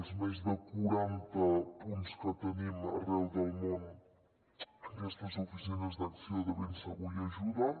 els més de quaranta punts que tenim arreu del món aquestes oficines d’acció de ben segur hi ajuden